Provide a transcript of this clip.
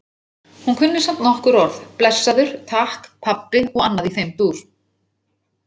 Hún kunni samt nokkur orð- blessaður, takk, pabbi og annað í þeim dúr.